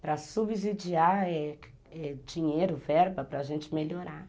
Para subsidiar é dinheiro, verba, para a gente melhorar.